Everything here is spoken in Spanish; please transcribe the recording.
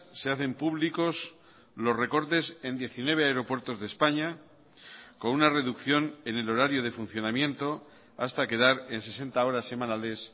se hacen públicos los recortes en diecinueve aeropuertos de españa con una reducción en el horario de funcionamiento hasta quedar en sesenta horas semanales